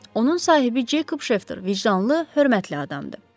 Onun sahibi Ceykob Şefter vicdanlı, hörmətli adamdır.